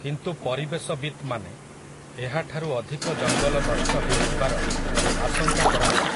କିନ୍ତୁ ପରିବେଶବିତ୍‌ମାନେ, ଏହାଠାରୁ ଅଧିକ ଜଙ୍ଗଲ ନଷ୍ଟ ହେଇଥିବାର, ଆଶଙ୍କା କରନ୍ତି ।